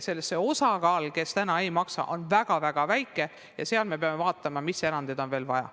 Nende õpilaste osakaal, kes täna õppemaksu ei maksa, on väga-väga väike ja nende puhul me peame vaatama, milliseid erandeid on veel vaja.